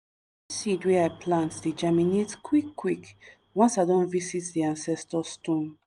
seed wey i plant dey germinate quick quick once i don visit di ancestor stone.